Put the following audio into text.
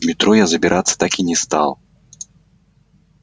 в метро я забираться так и не стал